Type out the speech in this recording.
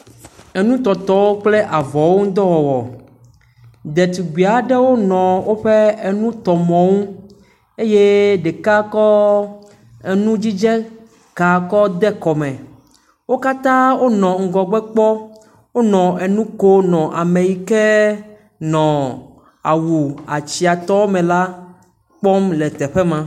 Enu tɔtɔ kple avɔwo ŋudɔ wɔwɔ. Ɖetugbi aɖewo nɔ woƒe enutɔmɔwo nu eye ɖeka kɔ enudzidze ka kɔ de kɔ me. Wo katã wo nɔ ŋgɔgbe kpɔ wonɔ enu ko nɔ ame yi ke nɔ awu atsia tɔ me la kpɔm le teƒe ma.